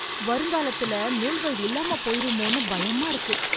வருங்காலத்துல நூல்கள் இல்லாம போயிருமோனு பயமா இருக்கு